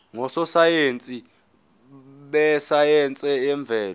ngososayense besayense yemvelo